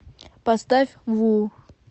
поставь ву